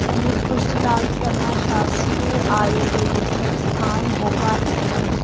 पंडित खुशीलाल शर्मा शास्कीय आयुर्वेदिक संस्थान भोपाल लिखा है।